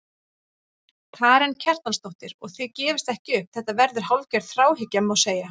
Karen Kjartansdóttir: Og þið gefist ekki upp, þetta verður hálfgerð þráhyggja, má segja?